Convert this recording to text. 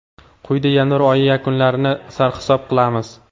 Quyida yanvar oyi yakunlarini sarhisob qilamiz.